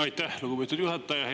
Aitäh, lugupeetud juhataja!